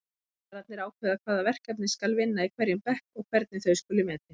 Kennararnir ákveða hvaða verkefni skal vinna í hverjum bekk og hvernig þau skuli metin.